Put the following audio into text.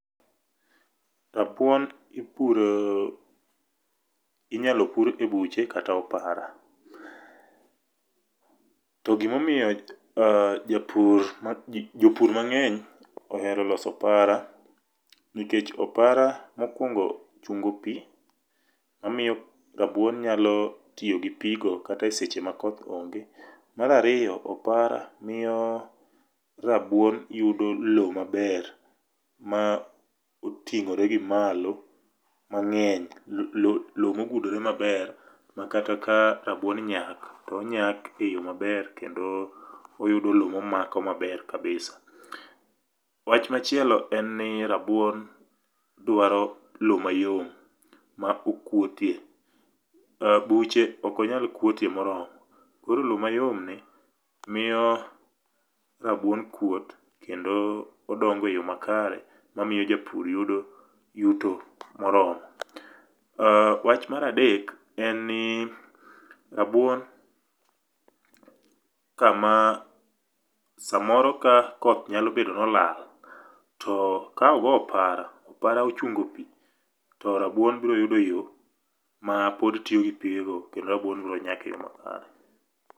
Rabuon ipuro inyalo pur ebuche kata opara. To gimomiyo jopur mang'eny ohero loso opara nikech opara mokwongo chungo piii, omiyo rabuon nyalo tiyo gii pii go kata e seche ma koth onge. Mar ariyo, opara miyo rabuon yudo lowo maber moting'ore gimalo mang'eny lowo mogudore maber makata ka rabuon nyak to nyak e yoo maber kendo oyudo lowo momako maber kabisa Wach machielo en ni rabuon dwaro lowo mayom ma okuote .Buche ok onyal kuotie moromo. Koro lowo mayom ni miyo rabuon kuot kendo odongo e yoo makare mamiyo japur yudo yuto moromo. Wach mar adek en ni rabuon kama samoro ka koth nyalo bedo ni olal to ka ogo opara , opara ochungo pii to rabuon bro yudo yoo mapod tiyo gi pigego kendo rabuon bro nyak e yoo makare.